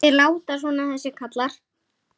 Þeir láta svona þessir karlar.